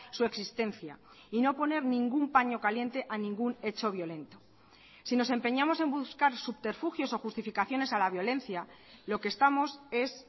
su existencia y no poner ningún paño caliente a ningún hecho violento si nos empeñamos en buscar subterfugios o justificaciones a la violencia lo que estamos es